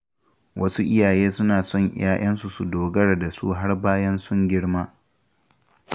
Wasu iyaye suna son ‘ya’yansu su dogara da su har bayan sun girma.